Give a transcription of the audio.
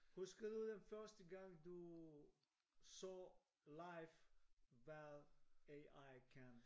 Husker du den første gang du så live hvad AI kan?